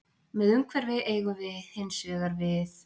Með umhverfi eigum við hins vegar við